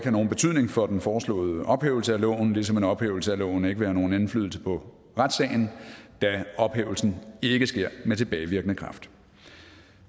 nogen betydning for den foreslåede ophævelse af loven ligesom en ophævelse af loven ikke vil have nogen indflydelse på retssagen da ophævelsen ikke sker med tilbagevirkende kraft